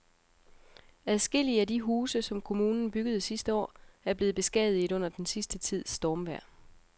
Adskillige af de huse, som kommunen byggede sidste år, er blevet beskadiget under den sidste tids stormvejr.